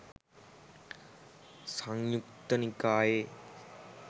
සංයුත්ත නිකායේ